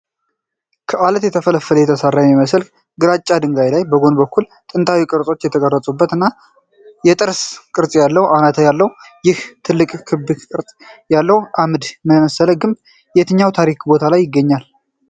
ከዓለት ተፈልፍሎ የተሰራ በሚመስል ግራጫ ድንጋይ ላይ፣ በጎን በኩል ጥንታዊ ቅርጾች የተቀረጹበት እና የጥርስ ቅርፅ አለው። አናት ያለው ይህ ትልቅና ክብ ቅርፅ ያለው አምድ መሰል ግንብ የትኛው ታሪካዊ ቦታ ላይ ይገኛል?